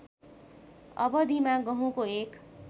अवधिमा गहुँको एक